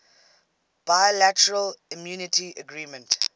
bilateral immunity agreement